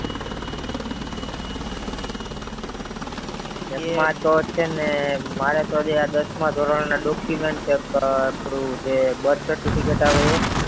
મારે તો છે ને મારો તો દસ માં ધોરણ નું documents રેક થોડું જે birth certificate આવે એ